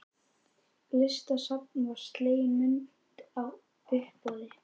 Listasafninu var slegin myndin á uppboði.